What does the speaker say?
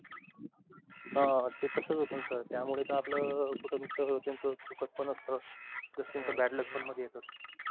हा ते तसच होतो सर, त्या मुळे का आपल कुट तर त्याचं सुखदपणा अस करताना bad luck पण मधी येतात.